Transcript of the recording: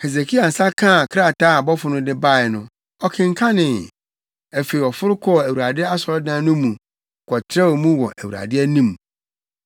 Hesekia nsa kaa krataa a abɔfo no de bae no, ɔkenkanee. Afei ɔforo kɔɔ Awurade asɔredan no mu kɔtrɛw mu wɔ Awurade anim.